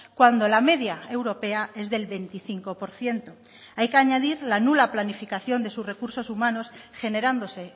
cuando la media europea es del veinticinco por ciento hay que añadir la nula planificación de sus recursos humanos generándose